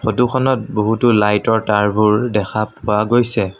ফটোখনত বহুতো লাইট ৰ তাঁৰবোৰ দেখা পোৱা গৈছে।